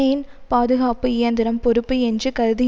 பாதுகாப்பு இயந்திரம் பொறுப்பு என்று கருதுகின்றனர்